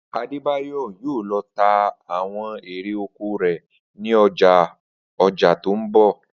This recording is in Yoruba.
Adébáyò̩ yóò lo̩ ta àwo̩n erè oko rè̩ ní o̩jó̩ o̩jà tó ń bò̩